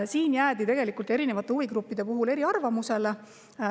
Siin jäid tegelikult erinevad huvigrupid eri arvamustele.